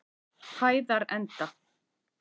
Hæðarenda